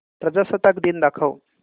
प्रजासत्ताक दिन दाखव